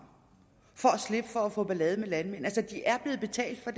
for at slippe for at få ballade med landmændene altså de er blevet betalt for